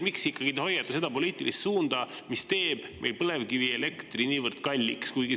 Miks te ikkagi hoiate seda poliitilist suunda, mis teeb meil põlevkivielektri niivõrd kalliks?